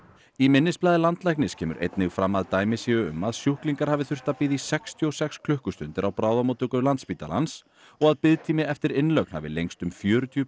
í minnisblaði landlæknis kemur einnig fram að dæmi séu um að sjúklingar hafi þurft að bíða í sextíu og sex klukkustundir á bráðamóttöku Landspítalans og að biðtími eftir innlögn hafi lengst um fjörutíu